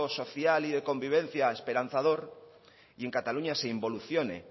social y de convivencia esperanzador y en cataluña se involucione